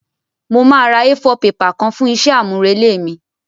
Mo máa ra A4 paper kan fún isé àmúrelé mí